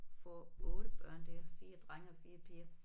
Får 8 børn der 4 drenge og 4 piger